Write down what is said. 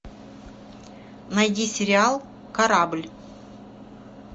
найди сериал корабль